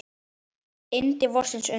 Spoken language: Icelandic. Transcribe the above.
Yndi vorsins undu.